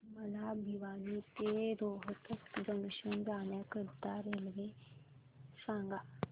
मला भिवानी ते रोहतक जंक्शन जाण्या करीता रेल्वे सांगा